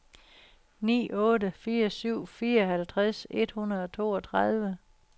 ni otte fire syv fireoghalvtreds et hundrede og toogtredive